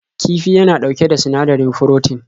Kifi yana ɗauke da sinadari froten.